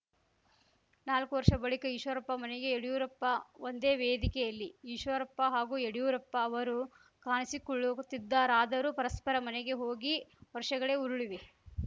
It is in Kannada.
ನಾಲ್ಕು ವರ್ಷ ಬಳಿಕ ಈಶ್ವರಪ್ಪ ಮನೆಗೆ ಯಡ್ಯೂರಪ್ಪ ಒಂದೇ ವೇದಿಕೆಯಲ್ಲಿ ಈಶ್ವರಪ್ಪ ಹಾಗೂ ಯಡ್ಯೂರಪ್ಪ ಅವರು ಕಾಣಿಸಿಕೊಳ್ಳುತ್ತಿದ್ದರಾದರೂ ಪರಸ್ಪರ ಮನೆಗೆ ಹೋಗಿ ವರ್ಷಗಳೇ ಉರುಳಿವೆ